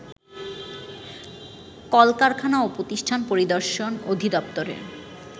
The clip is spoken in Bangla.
কলকারখানা ও প্রতিষ্ঠান পরিদর্শন অধিদপ্তরের